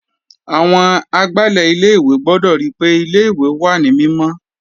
Àwọn agbálẹ̀ ilé ìwé gbọ́dọ̀ ríi pé ilé ìwé wà ní mímọ́.